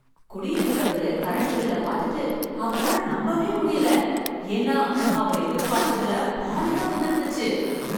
குடியிருக்கிறவர் current பில்லைப் பார்த்துட்டு அவரால நம்பவே முடியல, ஏன்னா, அவர் எதிர்பார்த்ததுல பாதிதான் வந்திருந்துச்சு